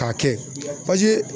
K'a kɛ paseke